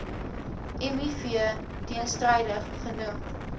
miv teenstrydig genoem